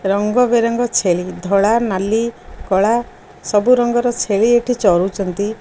ରଙ୍ଗ ବେରଙ୍ଗ ଛେଲି ଧଳା ନାଲି କଳା ସବୁ ରଙ୍ଗର ଛେଳି ଏଠି ଚରୁଚନ୍ତି।